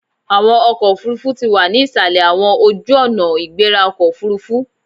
Awọn ọkọ ofurufu ti wa ni isalẹ awọn ojuonaigberaokoofurufu